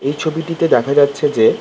এই ছবিটিতে দেখা যাচ্ছে যে--